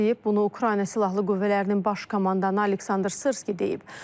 Bunu Ukrayna Silahlı Qüvvələrinin baş komandanı Aleksandr Sırski deyib.